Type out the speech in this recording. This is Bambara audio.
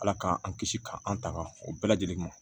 Ala k'an kisi k'an tanga o bɛɛ lajɛlen ma